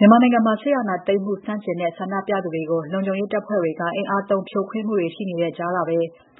မြန်မာနိုင်ငံမှာ စစ်အာဏာသိမ်းမှု ဆန့်ကျင်တဲ့ ဆန္ဒပြသူတွေကို လုံခြုံရေးတပ်ဖွဲ့တွေက အင်အားသုံး ဖြိုခွင်းမှုတွေရှိတဲ့ကြားကပဲ